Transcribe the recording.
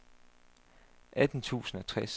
atten tusind og tres